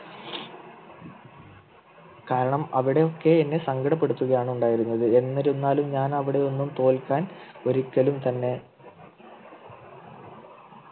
കാരണം അവിടെയൊക്കെ എന്നെ സങ്കടപ്പെടുത്തുകയാണ് ഉണ്ടായിരുന്നത് എന്നിരുന്നാലും ഞാൻ അവിടെ ഒന്നും തോൽക്കാൻ ഒരിക്കലും തന്നെ